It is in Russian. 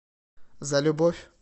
за любовь